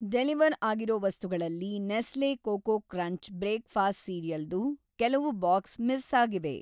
Deliver ಆಗಿರೋ ವಸ್ತುಗಳಲ್ಲಿ Nestle coco crunch breakfast ಸೀರಿಯಲ್‌ದು ಕೆಲವು ಬಾಕ್ಸು ಮಿಸ್‌ ಆಗಿವೆ.